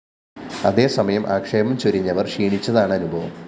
അതേ സമയം ആക്ഷേപം ചൊരിഞ്ഞവര്‍ ക്ഷീണിച്ചതാണ് അനുഭവം